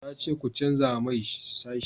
na ce ku canja mai sashi